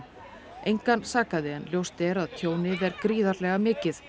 engan sakaði en ljóst er að tjónið er gríðarlega mikið